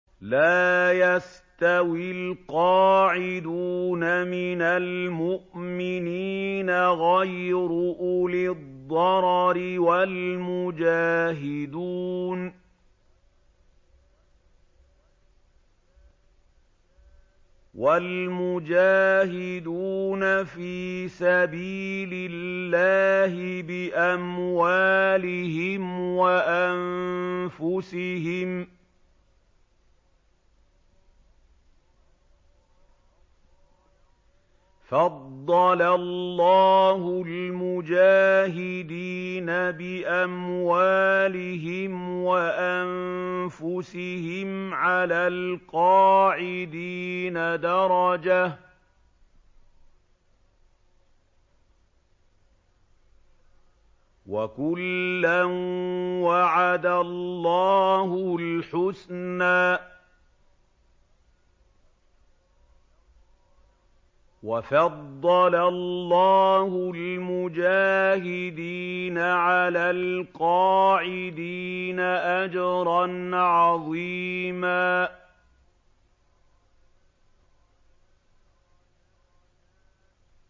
لَّا يَسْتَوِي الْقَاعِدُونَ مِنَ الْمُؤْمِنِينَ غَيْرُ أُولِي الضَّرَرِ وَالْمُجَاهِدُونَ فِي سَبِيلِ اللَّهِ بِأَمْوَالِهِمْ وَأَنفُسِهِمْ ۚ فَضَّلَ اللَّهُ الْمُجَاهِدِينَ بِأَمْوَالِهِمْ وَأَنفُسِهِمْ عَلَى الْقَاعِدِينَ دَرَجَةً ۚ وَكُلًّا وَعَدَ اللَّهُ الْحُسْنَىٰ ۚ وَفَضَّلَ اللَّهُ الْمُجَاهِدِينَ عَلَى الْقَاعِدِينَ أَجْرًا عَظِيمًا